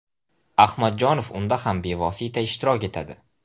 Ahmadjonov unda ham bevosita ishtirok etadi.